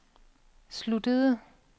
sluttede